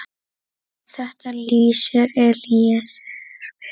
Þetta lýsir Elíeser vel.